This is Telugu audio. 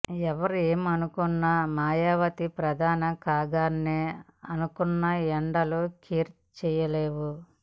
ఎవరేమి అనుకున్నా మాయావతి ప్రధాని కాగలనని అనుకున్నా ఎండలు కేర్ చెయ్యవు